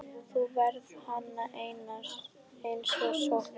Þú færð hana eins og skot.